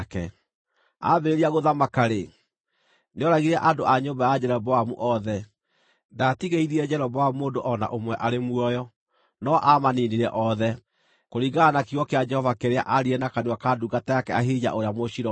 Aambĩrĩria gũthamaka-rĩ, nĩooragire andũ a nyũmba ya Jeroboamu othe. Ndaatigĩirie Jeroboamu mũndũ o na ũmwe arĩ muoyo, no aamaniinire othe, kũringana na kiugo kĩa Jehova kĩrĩa aaririe na kanua ka ndungata yake Ahija ũrĩa Mũshiloni,